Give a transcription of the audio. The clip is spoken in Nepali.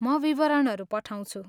म विवरणहरू पठाउँछु।